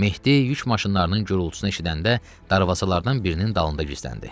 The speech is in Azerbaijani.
Mehdi yük maşınlarının gürultusunu eşidəndə darvazalardan birinin dalında gizləndi.